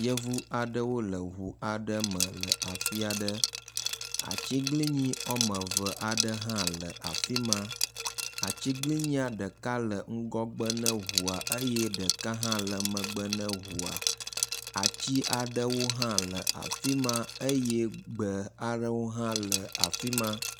Yevu aɖewo le ŋu aɖe me le afia ɖe. Atsiglinyi woameve aɖe hã le afi ma. Atsiglinyi ɖeka le ŋgɔgbe ne ŋua eye ɖeka hã le megbe ne ŋua. Atsi aɖewo hã le afi ma eye gbe aɖewo hã le afi ma.